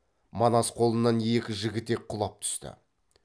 манас қолынан екі жігітек құлап түсті